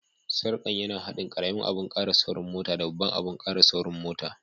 Sarkan ya na hadin karemin abun kara saurin mota da babban abun kara saurin mota.